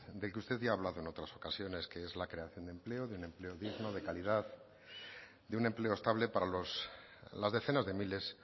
de que usted ya ha hablado en otras ocasiones que es la creación de empleo de un empleo digno de calidad de un empleo estable para las decenas de miles